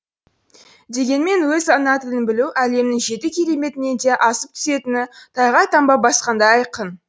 дегенмен өз ана тілін білу әлемнің жеті кереметінен де асып түсетіні тайға таңба басқандай айқын